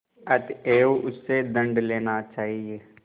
अतएव उससे दंड लेना चाहिए